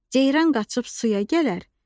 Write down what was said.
Ceyran qaçıb suya gələr,